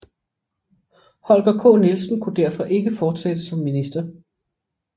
Holger K Nielsen kunne derfor ikke fortsætte som minister